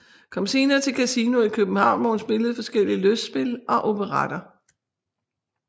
Kom senere til Casino i København hvor hun spillede forskellige lystspil og operetter